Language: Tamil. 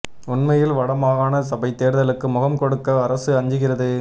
உண்மையில் வட மாகாண சபை தேர்தலுக்கு முகம் கொடுக்க அரசு அஞ்சுகிறது